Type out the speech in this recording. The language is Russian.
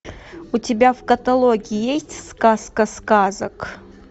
у тебя в каталоге есть сказка сказок